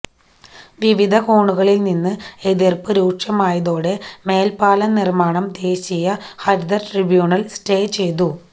വിവിധ കോണുകളില് നിന്ന് എതിര്പ്പ് രൂക്ഷമായതോടെ മേല്പ്പാലം നിര്മാണം ദേശീയ ഹരിത ട്രൈബ്യൂണല് സ്റ്റേ ചെയ്തു